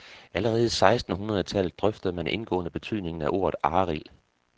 Allerede i seksten hundrede tallet drøftede man indgående betydningen af ordet arild.